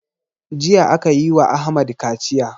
Jiya akayi wa ahmad kaciya